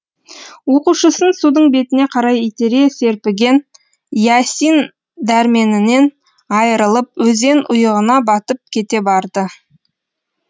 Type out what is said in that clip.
оқушысын судың бетіне қарай итере серпіген иасин дәрменінен айырылып өзен ұйығына батып кете барды